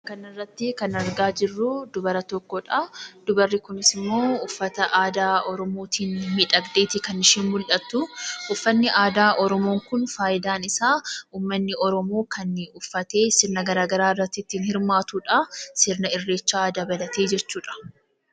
Kanarrattii kan argaa jirruu dubara tokkodhaa. Dubarri kunis immoo uffata aadaa oromootiin miidhagdeeti kan isheen mul'attuu. Uffanni aadaa oromoo kun faayidaan isaa uummanni oromoo kan uffatee sirna garaa garaa irratti ittiin hirmaatudhaa. Sirna irreechaa dabalatee jechuudha.